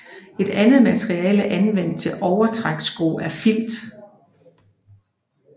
Et andet materiale anvendt til overtrækssko er Filt